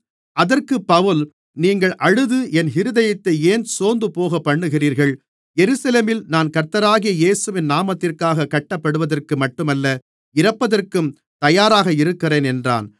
அதற்குப் பவுல் நீங்கள் அழுது என் இருதயத்தை ஏன் சோர்ந்து போகப்பண்ணுகிறீர்கள் எருசலேமில் நான் கர்த்தராகிய இயேசுவின் நாமத்திற்காகக் கட்டப்படுவதற்கு மட்டுமல்ல இறப்பதற்கும் தயாராக இருக்கிறேன் என்றான்